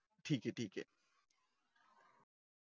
ठीक ये ठीक ये